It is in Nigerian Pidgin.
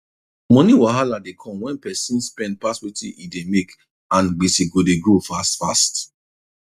money wahala dey come when person spend pass wetin e dey make and gbese go dey grow fast fast